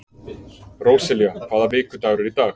Róselía, hvaða vikudagur er í dag?